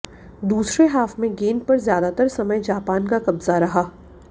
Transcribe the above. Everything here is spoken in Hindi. दूसरे हाफ में गेंद पर ज्यादातर समय जापान का कब्जा रहा